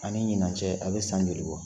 Ani ɲinan cɛ a bɛ san joli bɔ